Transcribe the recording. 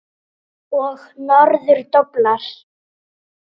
Og norður doblar.